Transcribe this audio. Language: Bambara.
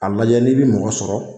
A lajɛ n'i bi mɔgɔ sɔrɔ